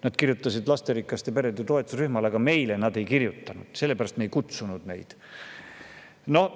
Nad kirjutasid lasterikaste perede toetusrühmale, aga meile nad ei kirjutanud, sellepärast et me ei kutsunud neid kohale.